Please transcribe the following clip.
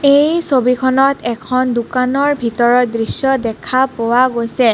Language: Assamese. এই ছবিখনত এখন দোকানৰ ভিতৰৰ দৃশ্য দেখা পোৱা গৈছে.